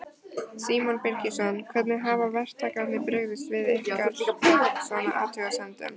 Símon Birgisson: Hvernig hafa verktakarnir brugðist við ykkar, svona, athugasemdum?